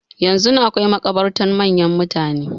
Yanzun akwai makabartan manyan mutane.